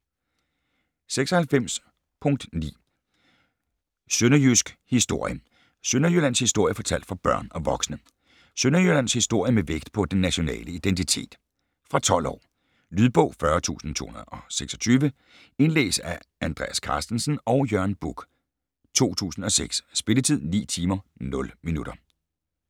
96.9 Synnejysk historie: Sønderjyllands historie fortalt for børn & voksne Sønderjyllands historie med vægt på den nationale identitet. Fra 12 år. Lydbog 40226 Indlæst af Andreas Carstensen og Jørn Buch, 2006. Spilletid: 9 timer, 0 minutter.